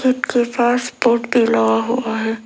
जिसके पास बोर्ड भी लगा हुआ है।